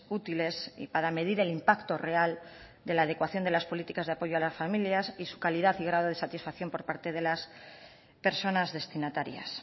útiles y para medir el impacto real de la adecuación de las políticas de apoyo a las familias y su calidad y grado de satisfacción por parte de las personas destinatarias